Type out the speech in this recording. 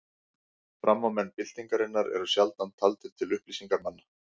Framámenn byltingarinnar eru sjaldan taldir til upplýsingarmanna.